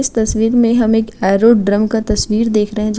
इस तस्वीर मे हम एक ऐरोडर्म का एक तस्वीर देख रहे हैं जो --